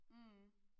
Mh